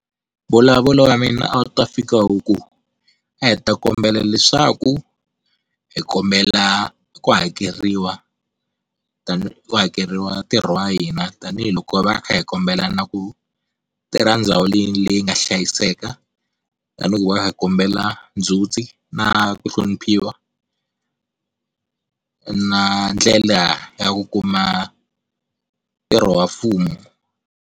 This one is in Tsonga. Mbulavulo wa mina a wu ta fika wu ku, a hi ta kombela leswaku hi kombela ku hakeriwa ku hakeriwa ntirho wa hina tanihiloko hi va kha hi kombela na ku tirha ndhawu leyi nga hlayiseka, tanihiloko hi kha hi kombela ndzhuti na ku hloniphiwa na ndlela ya ku kuma ntirho wa mfumo.